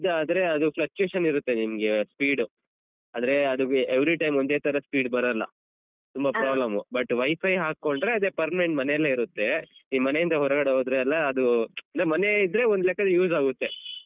ಅದಾದ್ರೆ ಅದು fluctuation ಇರುತ್ತೆ ನಿಮ್ಗೆ speed ಆದ್ರೆ ಅದು every time ಒಂದೇ ತರ speed ಬರಲ್ಲ ತುಂಬ problem but WiFi ಹಾಕೊಂಡ್ರೆ ಅದೇ permanent ಮನೇಲೇ ಇರುತ್ತೆ ಈ ಮನೆಯಿಂದ ಹೊರಗಡೆ ಹೋದ್ರೆಲ್ಲ ಅದು ನಮ್ ಮನೆಯೇ ಇದ್ರೆ ಒಂದ್ ಲೆಕ್ಕದಲ್ use ಆಗುತ್ತೆ.